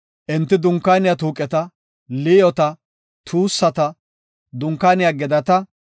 “Enti Dunkaaniya tuuqeta, liyoota, tuussata, Dunkaaniya gedata,